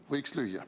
Võiks lüüa.